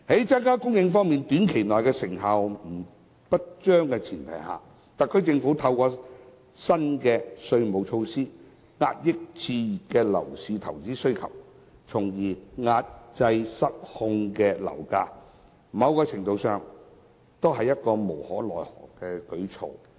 在增加房屋供應方面短期內成效不彰的前提下，特區政府透過新的稅務措施，遏抑熾熱的樓市投資需求，從而抑制失控的樓價，某程度上是無可奈可的舉措。